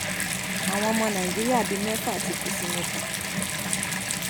àwọn ọmọ nàìjíríà bíi mẹfà ti kú sí mẹkà